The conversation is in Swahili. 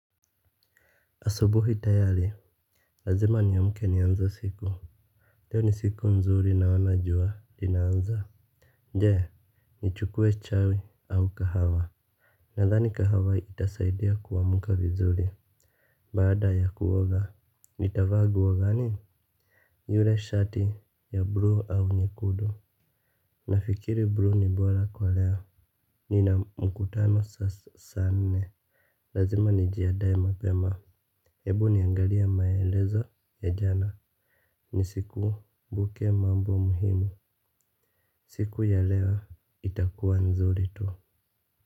Asubuhi tayari lazima niamke nianze siku. Leo ni siku nzuri naona jua inaanza je, nichukue chai au kahawa. Nadhani kahawa itasaidia kuamka vizuri. Baada ya kuoga nitavaa nguo gani? Yule shati ya bluu au nyekudu. Nafikiri bluu ni bora kwa leo. Nina mkutano saa nne. Lazima nijiadae mapema. Hebu niangalie maelezo ya jana. Nisikumbuke mambo muhimu. Siku ya leo itakuwa nzuri tu.